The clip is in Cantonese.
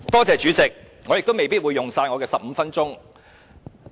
主席，我未必會用盡15分鐘。